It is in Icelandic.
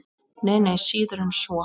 Nei, nei, síður en svo.